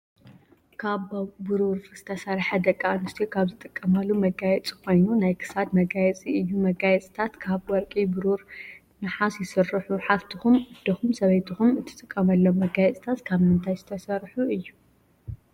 ካብ ቡሩር ዝተሰረሐ ደቂ ኣንስትዮ ካብ ዝጥቀማሉ መጋየፂ ኮይኑ ናይ ክሳድ መጋየፂ እዩ። መጋየፅታት ካብ ወርቂ፣ ብሩር፣ ነሓስ፣ ይስርሑ። ሓፍትኩም ኣደኩም ሰበይትኩም እትጥቀመሉም መጋየፅታት ካብ ምንታይ ዝተሰርሑ እዩ?